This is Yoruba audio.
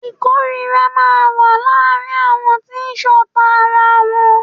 Ìkórira máa ń wà láàárín àwọn tí ṣọ̀ta ara wọn.